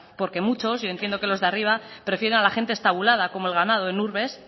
porque muchos yo entiendo que los de arriba prefiera la gente estabulada como el ganado en urbes